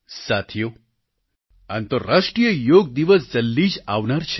સાથીઓ આંતરરાષ્ટ્રિય યોગ દિવસ જલ્દી જ આવનાર છે